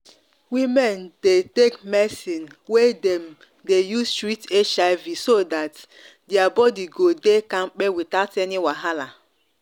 women dey take medicine wey dem dey use treat hiv so that their body go dey kampe without any wahala.